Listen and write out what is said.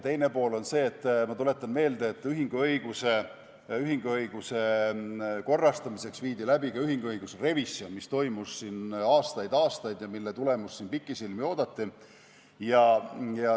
Teine pool on see, ma tuletan meelde, et ühinguõiguse korrastamiseks viidi läbi ka ühinguõiguse revisjon, mis toimus aastaid-aastaid ja mille tulemust pikisilmi oodati.